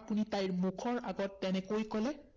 আপুনি তাইৰ মুখৰ আগতে তেনেকে কলে?